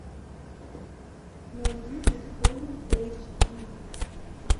найди бетховен эйч ди